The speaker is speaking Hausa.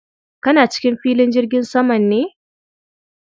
Kana cikin filin jirgin saman ne?